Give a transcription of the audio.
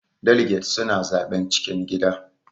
Daliget suna zaɓen cikin gida.